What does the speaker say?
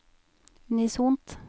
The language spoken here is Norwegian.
unisont